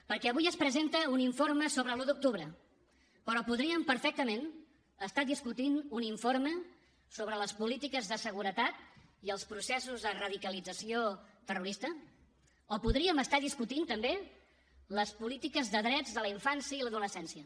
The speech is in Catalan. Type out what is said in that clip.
perquè avui es presenta un informe sobre l’un d’octubre però podríem perfectament estar discutint un informe sobre les polítiques de seguretat i els processos de radicalització terrorista o podríem estar discutint també les polítiques de drets de la infància i l’adolescència